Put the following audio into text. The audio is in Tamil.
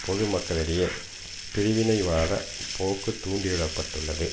பொது மக்களிடையே பிரிவினைவாத போக்கு தூண்டி விட பட்டுள்ளது